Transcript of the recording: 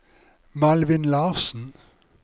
Malvin Larsen